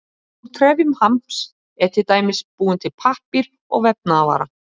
Þrátt fyrir þessa slöku byrjun var ekkert stress í hópnum.